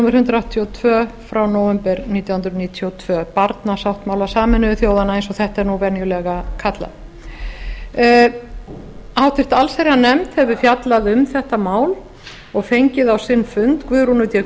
númer hundrað áttatíu og tvö frá nóvember nítján hundruð níutíu og tvö barnasáttmála sameinuðu þjóðanna eins og þetta er venjulega kallað nefndin hefur fjallað um málið og fengið á sinn fund guðrúnu d